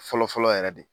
Fɔlɔ fɔlɔ yɛrɛ de